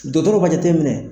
Dɔgɔtɔrɔba jateminɛ.